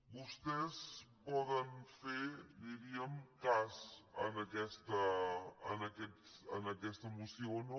vostès poden fer diríem cas a aquesta moció o no